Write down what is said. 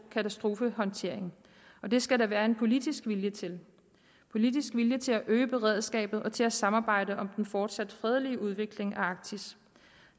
katastrofehåndtering og det skal der være en politisk vilje til politisk vilje til at øge beredskabet og til at samarbejde om den fortsat fredelige udvikling af arktis